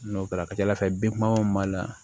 N'o kɛra a ka ca ala fɛ bɛnbaliyaw b'a la